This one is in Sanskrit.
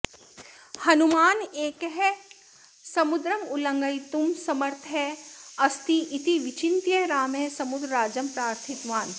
हनुमानेकः समुद्रमुल्लङ्घयितुं समर्थः अस्ति इति विचिन्त्य रामः समुद्रराजं प्रार्थितवान्